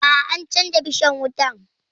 A'a, an canja bishan wutan